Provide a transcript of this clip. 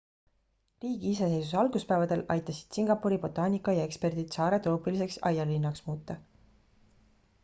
riigi iseseisvuse alguspäevadel aitasid singapuri botaanikaaia eksperdid saare troopiliseks aialinnaks muuta